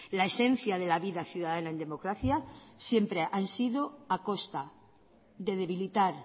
la esencia de la vida ciudadana en democracia siempre han sido a costa de debilitar